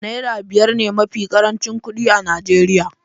Naira biyar ne mafi karancin kuɗi a Najeriya.